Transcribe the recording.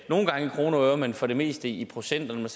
nogle gange i kroner og øre men for det meste i procenter når man